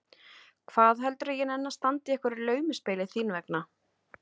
Hvað heldurðu að ég nenni að standa í einhverju laumuspili þín vegna?